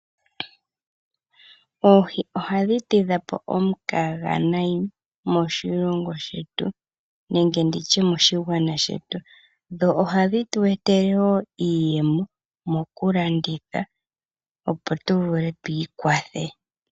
Oohi ohadhi tidhapo omukaga nayi moshilongo shetu nenge nditye moshigwana shetu, dho ohadhi tu etele wo iiyemo moku landitha opo tu vule twiikwathe.